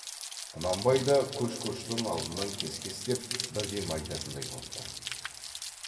құнанбай да көш көштің алдынан кес кестеп бірдеме айтатындай боп тұр